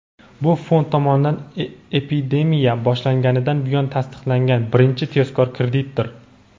Bu fond tomonidan epidemiya boshlanganidan buyon tasdiqlangan birinchi tezkor kreditdir.